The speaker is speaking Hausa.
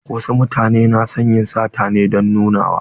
Wasu mutane na son yin sata ne don nunawa.